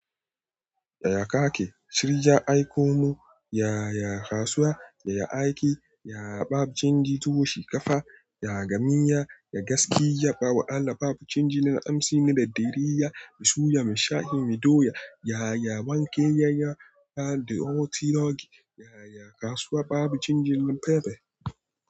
Yaya kake? Shirya aiko mu. Yaya kasuwa? Yaya aiki? Yaya babu canji tukuru shi kafa. Yaga miya, ya gaskiya, ba wa Allah babu canji, na amsi na daddare, ya bisu, ya mashayi, mi doya. Yaya wanke, ya ya da otalogi. Yaya kasuwa babu canji na fefe.